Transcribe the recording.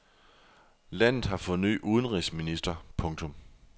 Landet har fået ny udenrigsminister. punktum